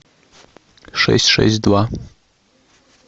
шесть шесть два